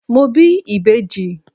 Mo bí ìbejì.